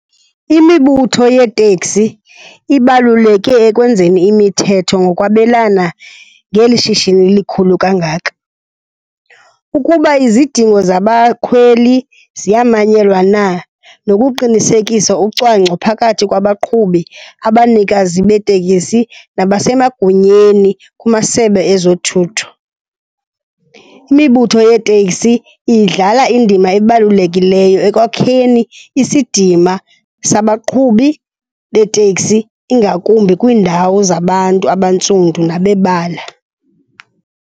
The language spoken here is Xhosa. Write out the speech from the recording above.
Imibutho yeeteksi ibalaluleke ekwenzeni imithetho ngokwabelana ngeli shishini likhulu kangaka ukuba izidingo zabakhweli ziyamanyelwa na nokuqinisekisa ucwangco phakathi kwabaqhubi, abanikazi beeteksi nabasemagunyeni kumasebe ezothutho. Imibutho yeeteksi idlala indima ebalulekileyo ekwakheni isidima sabaqhubi beeteksi ingakumbi kwiindawo zabantu abantsundi nabebala.